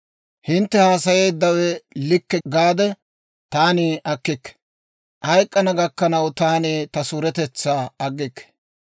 Hintte haasayeeddawe likke gaade taani akkikke; hayk'k'ana gakkanawukka taani ta suuretetsaa aggikke.